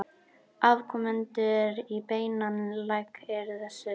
Afkomendur í beinan legg eru þessir